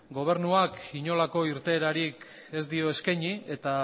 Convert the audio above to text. gobernuak inolako irteerarik ez dio eskaini eta